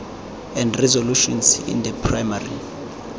and resolutions in the primary